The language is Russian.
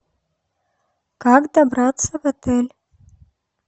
как добраться в отель